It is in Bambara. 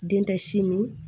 Den tɛ si min